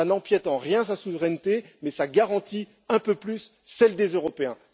Cela n'empiète en rien sa souveraineté, mais garantit un peu plus celle des Européens.